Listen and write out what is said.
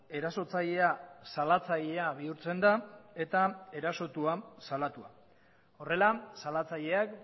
erasotzailea salatzailea bihurtzen da eta erasotua salatua horrela salatzaileak